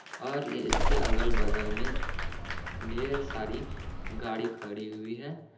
और ये इसके अगल-बगल में ढेर सारी गाड़ी खड़ी हुई हैं।